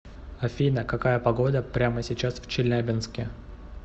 афина какая погода прямо сейчас в челябинске